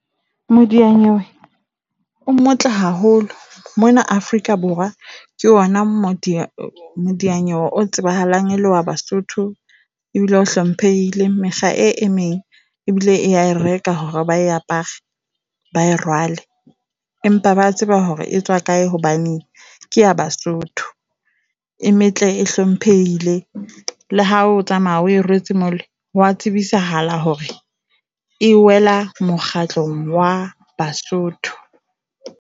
Modiyanywe o motle haholo mona Afrika Borwa, ke yona Modianyewe o tsebahalang e lewa baSotho ebile o hlomphehile. Mekga e emeng ebile ea e reka hore ba apare ba e rwale, empa ba tseba hore e tswa kae hobane ke ya Basotho. E metle, e hlomphehile. Le ha o tsamaya o rwetse mole wa tsebisahala hore e wela mokgatlong wa baSotho.